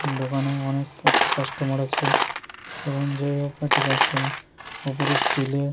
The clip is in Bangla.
দোকানে অনেক একটা কাস্টমার আছে এবং হোক একটা কাস্টমার ওপরে স্টীল এর --